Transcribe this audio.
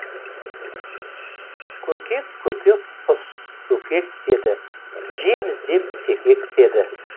көкек көкек құс көкек деді жем іздеп секектеді